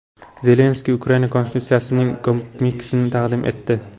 Zelenskiy Ukraina konstitutsiyasining komiksini taqdim etdi.